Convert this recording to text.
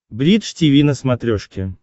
бридж тиви на смотрешке